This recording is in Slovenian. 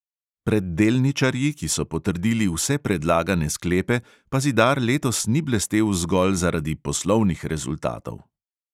Pred delničarji, ki so potrdili vse predlagane sklepe, pa zidar letos ni blestel zgolj zaradi poslovnih rezultatov.